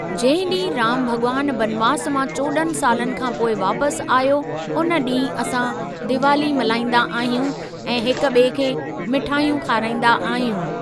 जंहिं ॾींहुं रामु भॻवानु वनवास मां चोॾहं सालनि खा पोइ वापसि आयो उन ॾींहुं असां दिवाली मल्हाईंदा आहियूं ऐं हिक ॿिए खे मिठायूं खाराईंदा आहियूं।